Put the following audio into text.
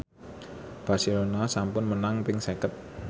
Barcelona sampun menang ping seket